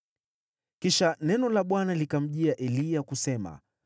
Kisha neno la Bwana likamjia Eliya, kusema,